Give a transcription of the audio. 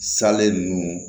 Salen ninnu